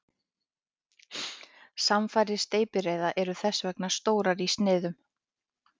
Samfarir steypireyða eru þess vegna stórar í sniðum.